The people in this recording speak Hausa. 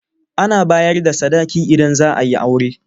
Ana bayar da sadaki idan zaa yi aure.